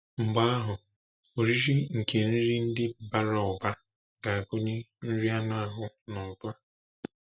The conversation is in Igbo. Mgbe ahụ, “oriri nke nri ndị bara ụba” ga-agụnye nri anụ ahụ n’ụba.